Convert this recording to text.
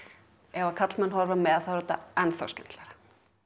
ef karlmenn horfa með er þetta enn þá skemmtilegra